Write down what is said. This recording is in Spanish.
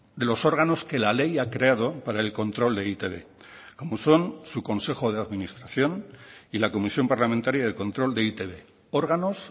de los órganos que la ley ha creado para el control de e i te be como son su consejo de administración y la comisión parlamentaria de control de e i te be órganos